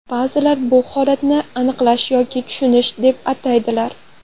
Ba’zilar bu holatni anglash yoki tushunish deb ataydilar.